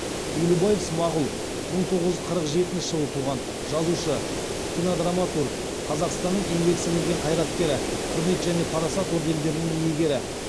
елубаев смағұл мың тоғыз жүз қырық жетінші жылы туған жазушы кинодраматург қазақстанның еңбек сіңірген қайраткері құрмет және парасат ордендерінің иегері